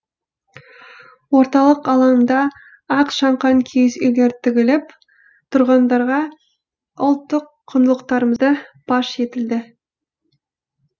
орталық алаңда ақ шаңқан киіз үйлер тігіліп тұрғындарға ұлттық құндылықтарымыз паш етілді